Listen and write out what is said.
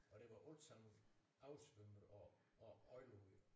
Og det var ikke sådan oversvømmet og og aflukket